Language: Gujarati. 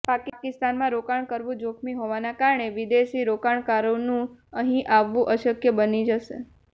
પાકિસ્તાનમાં રોકાણ કરવું જોખમી હોવાના કારણે વિદેશી રોકાણકારોનું અહીં આવવુ અશક્ય બની જશે